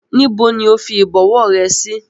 Níbo ni ó fi Ìbọ̀wọ́ rẹ sí?